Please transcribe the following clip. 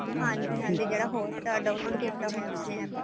ਹਾਂਜੀ ਹਾਂਜੀ ਜਿਹੜਾ hot star download ਕੀਤਾ ਹੋਇਆ ਆਪਾਂ ਨੇ APP